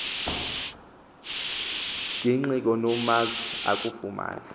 gingxi kunomazwi akuyifumana